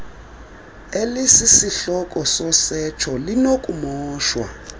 elisisihloko sosetsho linokumoshwa